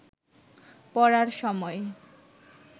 পড়ার সময়